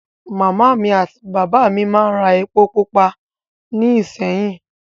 Màmá mi àti bàbá mi máa ń ra epo pupa ní ìṣéyìn